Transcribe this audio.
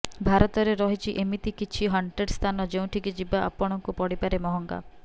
ଭାରତରେ ରହିଛି ଏମିତି କିଛି ହଣ୍ଟେଡ୍ ସ୍ଥାନ ଯେଉଁଠିକି ଯିବା ଆପଣଙ୍କୁ ପଡିପାରେ ମହଙ୍ଗା